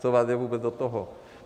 Co vám je vůbec do toho?